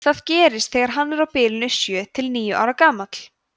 það gerist þegar hann er á bilinu sjö til níu ára gamall